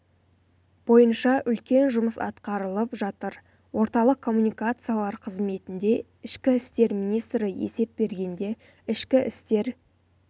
бойынша үлкен жұмыс атқарылып жатыр орталық коммуникациялар қызметінде ішкі істер министрі есеп бергенде ішкі істер